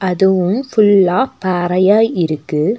இதுவும் ஒரு ஃபுல்லா பாறையா இருக்கு.